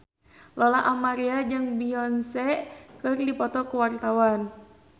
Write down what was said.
Lola Amaria jeung Beyonce keur dipoto ku wartawan